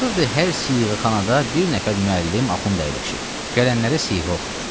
Baxırdı hər siğəxanada bir nəfər müəllim axund əyləşib, gələnlərə siğə oxuyur.